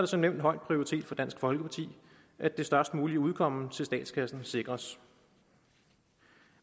som nævnt høj prioritet for dansk folkeparti at det størst mulige udkomme til statskassen sikres